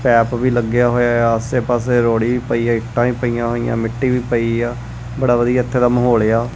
Pipe ਵੀ ਲੱਗਿਆ ਹੋਇਆ ਹੈ ਆਸੇ ਪਾੱਸੇ ਰੋਹੜੀ ਵੀ ਪਈ ਹੈ ਇੱਟਾਂ ਵੀ ਪਈਆਂ ਹੋਇਆਂ ਮਿੱਟੀ ਵੀ ਪਈ ਆ ਬੜਾ ਵਧੀਆ ਇੱਥੇ ਦਾ ਮਾਹੌਲ ਆ।